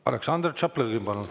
Aleksandr Tšaplõgin, palun!